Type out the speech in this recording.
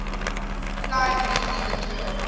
applied loosely the term